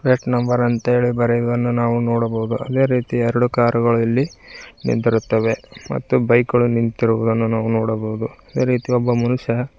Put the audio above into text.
tech number ಅಂತ ಹೇಳಿ ಬರೆಯುವನ್ನು ನಾವು ನೋಡಬಹುದು ಅದೇ ರೀತಿ ಎರಡು ಕಾರು ಗಳು ಇಲ್ಲಿ ನಿಂತಿರುತ್ತವೆ ಮತ್ತು ಬೈಕ್ ಗಳು ನಿಂತಿರುವುದನ್ನು ನಾವು ನೋಡಬಹುದು ಅದೇ ರೀತಿ ಒಬ್ಬ ಮನುಷ್ಯ --